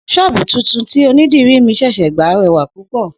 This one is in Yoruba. S̩ó̩ò̩bù tuntun tí onídìrí mi s̩è̩s̩è̩ gbà re̩wà púpò̩